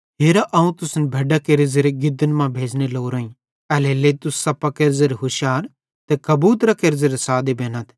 हेरा अवं तुसन भैड्डां केरे गिदन मां भेज़ने लोरोईं एल्हेरेलेइ तुस सप्पां केरे ज़ेरे हुशार ते कबूतरां केरे ज़ेरे सादे बेनथ